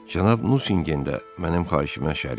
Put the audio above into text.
Cənab Nüsingen də mənim xahişimə şərikdir.